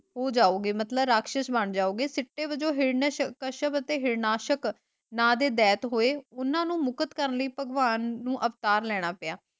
ਮਤਲੱਬ ਰਾਕਸ਼ਸ ਬੰਨ ਜਾਓਗੇ ਜਿਸਦੇ ਵਜੋਂ ਹਿਰਨ ਅਤੇ ਹਿਰਨਾਸ਼ਕ ਨਾਂ ਦੇ ਦੈਤ ਹੋਏ, ਉਹਨਾਂ ਨੂੰ ਮੁਕਤ ਕਰਣ ਲਈ ਭਗਵਾਨ ਨੂੰ ਅਵਤਾਰ ਲੈਣਾ ਪਿਆ।